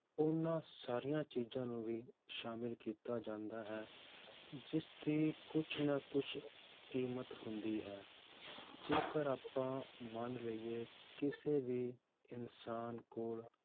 ਉਹਨਾਂ ਸਾਰੀਆਂ ਚੀਜ਼ਾਂ ਨੂੰ ਵੀ ਸ਼ਾਮਿਲ ਕੀਤਾ ਜਾਂਦਾ ਹੈ ਜਿਸਦੀ ਕੁਛ ਨਾ ਕੁਛ ਕੀਮਤ ਹੁੰਦੀ ਹੈ ਜੇਕਰ ਆਪਾਂ ਮੰਨ ਲਈਏ ਕਿਸੇ ਵੀ ਇਨਸਾਨ ਕੋਲ,